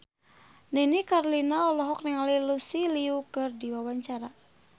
Nini Carlina olohok ningali Lucy Liu keur diwawancara